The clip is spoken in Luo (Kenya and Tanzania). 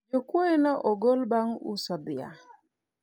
jokuoye ne ogol bang' uso dhiang'